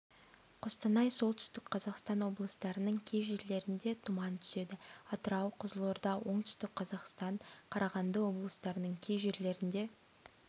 қостанай солтүстік қазақстан облыстарының кей жерлерінде тұман түседі атырау қызылорда оңтүстік қазақстан қарағанды облыстарының кей жерлерінде